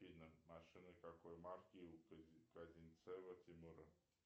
афина машина какой марки у козинцева тимура